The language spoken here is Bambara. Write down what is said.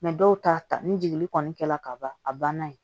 dɔw ta ta ni jigili kɔni kɛra ka ban a banna yen